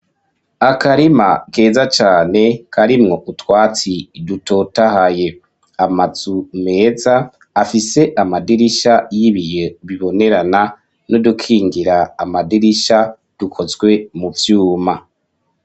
Akarima keza cane karimwo utwatsi dutotahaye amazu meza afise amadirisha y'ibiyo bibonerana nudukingira amadirisha dukozwe mu vyuma.